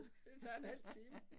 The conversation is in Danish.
Det tager en halv time